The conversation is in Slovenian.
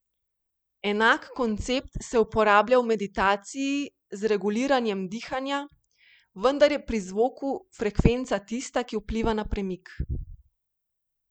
Enak koncept se uporablja v meditaciji z reguliranjem dihanja, vendar je pri zvoku frekvenca tista, ki vpliva na premik.